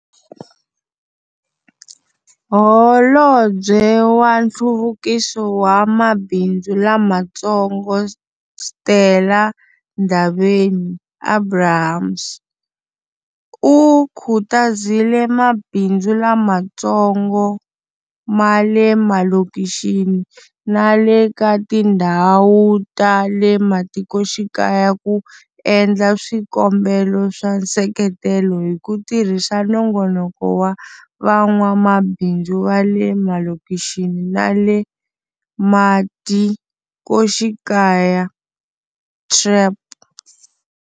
Holobye wa Nhluvukiso wa Mabindzu Lamatsongo Stella Ndabeni-Abrahams, u khutazile mabindzu lamatsongo ma le malokixini na le ka tindhawu ta le matikoxikaya ku endla swikombelo swa nseketelo hi ku tirhisa Nongonoko wa Van'wamabindzu va le Malokixini na le Matikoxikaya, TREP.